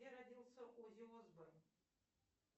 где родился оззи осборн